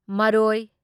ꯃꯔꯣꯢ